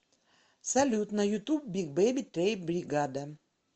салют на ютуб биг бэби тэйп бригада